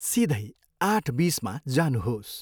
सिधै आठ बिसमा जानुहोस्।